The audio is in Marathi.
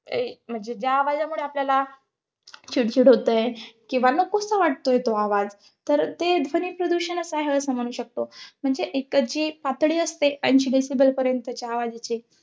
म्हणजे ज्या आवाजामुळे आपल्याला चिडचिड होते, किंवा नकोसा वाटतोय तो आवाज तर ते ध्वनिप्रदूषणाच आहे असं म्हणू शकतो. म्हणजे एकतर जे पातळी असते अंश decibel पर्यंतच्या आवजाची